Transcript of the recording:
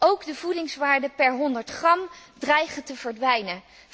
Ook de voedingswaarde per 100 gram dreigt te verdwijnen.